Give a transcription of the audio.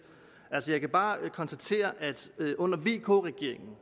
jeg kan bare konstatere at under vk regeringen